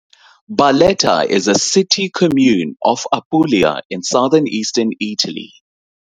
Barletta is a city, "comune" of Apulia, in southern eastern Italy.